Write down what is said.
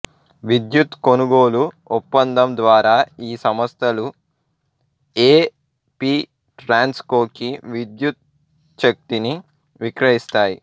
విద్యుత్ కొనుగోలు ఒప్పందం ద్వారా ఈ సంస్థలు ఏ పి ట్రాన్స్ కో కి విద్యుచ్ఛక్తిని విక్రయిస్తాయి